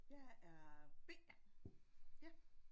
Jeg er B ja